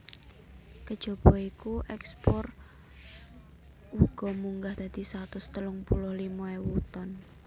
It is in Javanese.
Kejaba iku ekspore uga munggah dadi satus telung puluh limo ewu ton